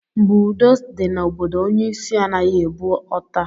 Mgbe udo dị na obodo, onye isi anaghị ebu ọta.